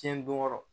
Tiɲɛ don yɔrɔ